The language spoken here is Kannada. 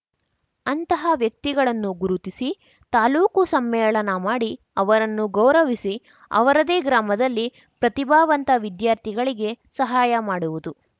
ಅಂತಹ ವ್ಯಕ್ತಿಗಳನ್ನು ಗುರುತಿಸಿ ತಾಲೂಕು ಸಮ್ಮೇಳನ ಮಾಡಿ ಅವರನ್ನು ಗೌರವಿಸಿ ಅವರದೇ ಗ್ರಾಮದಲ್ಲಿ ಪ್ರತಿಭಾವಂತ ವಿದ್ಯಾರ್ಥಿಗಳಿಗೆ ಸಹಾಯ ಮಾಡುವುದು